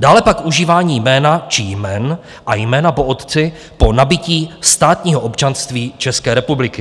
dále pak užívání jména či jmen a jména po otci po nabytí státního občanství České republiky.